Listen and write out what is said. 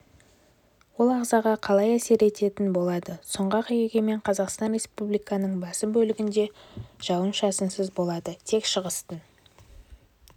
ол ағзаға қалай әсер ететін болады сұңғат егемен қазақстан республиканың басым бөлігінде жауын-шашынсыз болады тек шығыстың